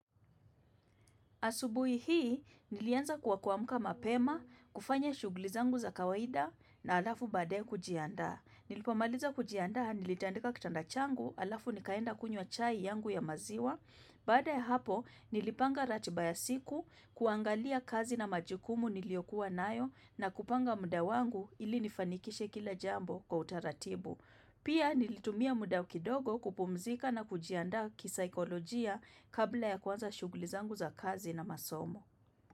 Asubuhi hii, nilianza kwa kuamka mapema, kufanya shughuli zangu za kawaida na halafu baadaye kujiandaa. Nilipomaliza kujiandaa, nilitandika kitanda changu, halafu nikaenda kunywa chai yangu ya maziwa. Baada ya hapo, nilipanga ratiba ya siku, kuangalia kazi na majukumu niliyokuwa nayo na kupanga muda wangu ili nifanikishe kila jambo kwa utaratibu. Pia nilitumia muda kidogo kupumzika na kujiandaa kisaikolojia kabla ya kuanza shughuli zangu za kazi na masomo.